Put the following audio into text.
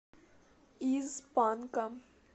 из панка